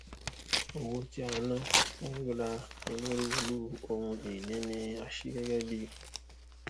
owó tí a ná fún ríra onírúurú ohunìní ni a ṣí gẹgẹ bíi